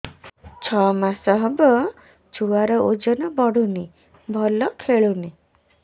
ଛଅ ମାସ ହବ ଛୁଆର ଓଜନ ବଢୁନି ଭଲ ଖେଳୁନି